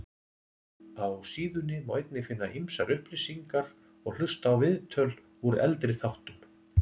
Á síðunni má einnig finna ýmsar upplýsingar og hlusta á viðtöl úr eldri þáttum.